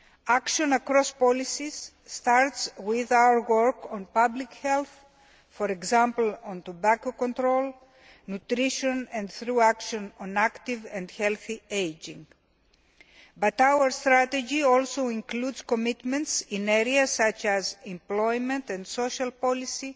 Action across policies starts with our work on public health, for example, on tobacco control and nutrition and through action on active and healthy ageing. But our strategy also includes commitments in areas such as employment and social policy,